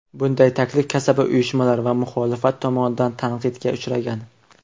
Bunday taklif kasaba uyushmalari va muxolifat tomonidan tanqidga uchragan.